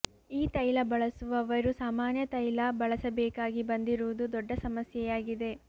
ಈ ತೈಲ ಬಳಸುವವರು ಸಾಮಾನ್ಯ ತೈಲ ಬಳಸಬೇಕಾಗಿ ಬಂದಿರುವುದು ದೊಡ್ಡ ಸಮಸ್ಯೆಯಾಗಿದೆ